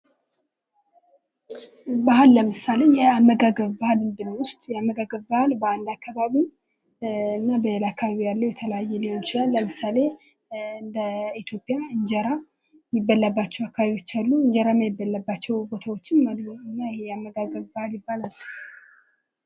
ባህል ለምሳሌ የአመጋገብ ባህልን ብንወስድ የአመጋገብ ባህል በአንድ አካባቢ እና በሌላ አካባቢ የተለያየ ሊሆን ይችላል። ለምሳሌ እንደ ኢትዮጵያ እንጀራ የሚበላባቸው አካባቢዎች አሉ እንጀራ የማይበላባቸው ቦታዎችም አሉ እና ይሄ የአመጋገብ ባህል ይባላል።